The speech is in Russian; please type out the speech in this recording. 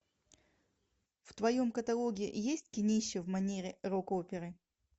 в твоем каталоге есть кинище в манере рок оперы